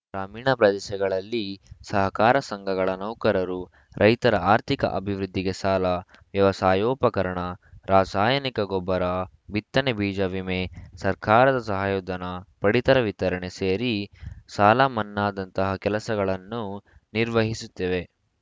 ಗ್ರಾಮೀಣ ಪ್ರದೇಶಗಳಲ್ಲಿ ಸಹಕಾರ ಸಂಘಗಳ ನೌಕರರು ರೈತರ ಆರ್ಥಿಕ ಅಭಿವೃದ್ಧಿಗೆ ಸಾಲ ವ್ಯವಸಾಯೋಪಕರಣ ರಾಸಾಯನಿಕ ಗೊಬ್ಬರ ಬಿತ್ತನೆ ಬೀಜ ವಿಮೆ ಸರ್ಕಾರದ ಸಹಾಯಧನ ಪಡಿತರ ವಿತರಣೆ ಸೇರಿ ಸಾಲಮನ್ನಾದಂತಹ ಕೆಲಸಗಳನ್ನು ನಿರ್ವಹಿಸುತ್ತಿವೆ